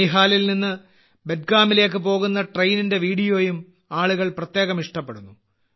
ബനിഹാലിൽ നിന്ന് ബട്ഗാമിലേക്ക് പോകുന്ന ട്രെയിനിന്റെ വീഡിയോയും ആളുകൾ പ്രത്യേകം ഇഷ്ടപ്പെടുന്നു